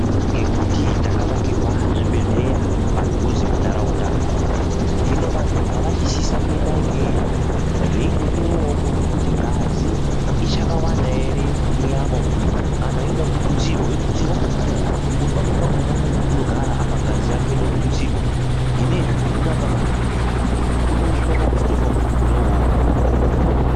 Ngekuti takawakirwa zvibhedhleya padhuze mundaraunda hino vantu ngavachisisa kuenda ikeyo veindohloiwawo kuone kuti ngazi ichakawanda ere munyama umu kana yoda kututsirwa yotutsirwa ngemukuwo, ngekuti pamweni pakhona munhu unogara apa ngazi yake yode kututsirwa zvinezvi hino angazononokerwa unozotosvika pakuzotofa munhuwo uwowo.